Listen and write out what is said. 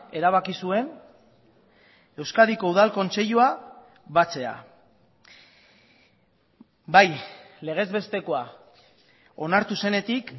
erabaki zuen euskadiko udal kontseilua batzea bai legez bestekoa onartu zenetik